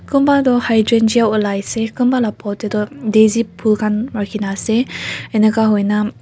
kunba tu hing ja lai se kunba laga pot te tu desi phool khan rakhi kina ase ining ka hona.